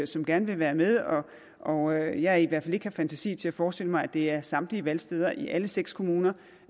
som gerne vil være med og jeg i hvert fald ikke har fantasi til at forestille mig at det er samtlige valgsteder i alle seks kommuner